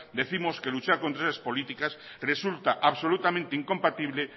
décimos que luchar contra esas políticas resulta absolutamente incompatible